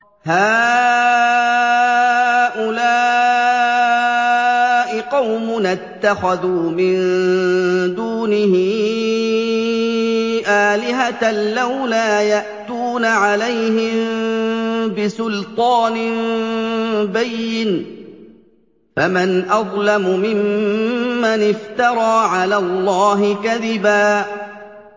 هَٰؤُلَاءِ قَوْمُنَا اتَّخَذُوا مِن دُونِهِ آلِهَةً ۖ لَّوْلَا يَأْتُونَ عَلَيْهِم بِسُلْطَانٍ بَيِّنٍ ۖ فَمَنْ أَظْلَمُ مِمَّنِ افْتَرَىٰ عَلَى اللَّهِ كَذِبًا